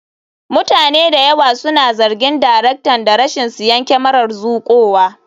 Mutane da yawa suna zargin daraktan da rashin siyan kyamarar zuƙowa.